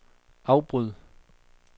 afbryd